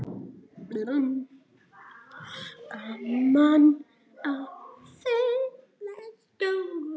Gaman að þeim stóru.